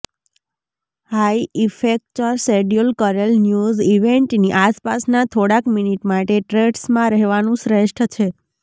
high ઇફેક્ચર schedule કરેલ news ઇવેન્ટની આસપાસના થોડાક મિનિટ માટે ટ્રેડ્સમાં રહેવાનું શ્રેષ્ઠ છે